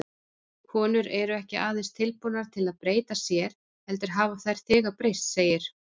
Konur eru ekki aðeins tilbúnar til að breyta sér, heldur hafa þær þegar breyst, segir